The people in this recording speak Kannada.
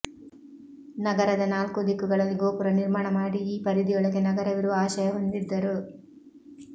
ನಗರದ ನಾಲ್ಕೂ ದಿಕ್ಕುಗಳಲ್ಲಿ ಗೋಪುರ ನಿರ್ಮಾಣ ಮಾಡಿ ಈ ಪರಿಧಿಯೊಳಗೆ ನಗರವಿರುವ ಆಶಯ ಹೊಂದಿದ್ದರು